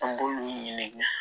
An b'olu ɲini